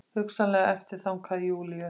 Hugsanlega eftirþankar Júlíu.